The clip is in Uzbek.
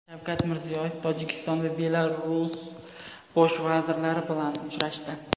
Shavkat Mirziyoyev Tojikiston va Belarus bosh vazirlari bilan uchrashdi.